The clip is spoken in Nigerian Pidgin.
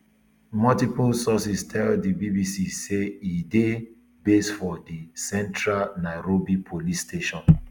multiple um sources tell di um bbc say e dey based for di central nairobi police station